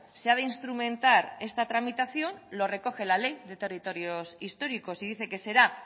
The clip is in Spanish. se ha de instrumentar esta tramitación lo recoge la ley de territorios históricos y dice que será